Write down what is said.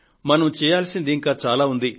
మనం చేయాల్సింది ఇంకా చాలా ఉంది